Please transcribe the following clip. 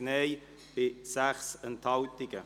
FiKo-Minderheit [Stucki, Bern] – Nr. 3b